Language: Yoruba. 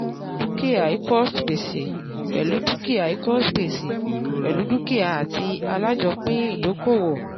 dúkìá equals gbèsè pẹ̀lú dúkìá equals gbèsè pẹ̀lú dúkìá ati alájòopín ìdókòwò